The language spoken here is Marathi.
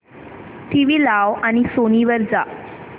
टीव्ही लाव आणि सोनी वर जा